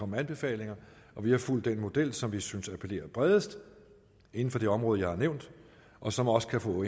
med anbefalinger og vi har fulgt den model som vi synes appellerer bredest inden for det område jeg har nævnt og som også kan få